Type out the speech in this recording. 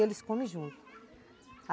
Eles comem junto.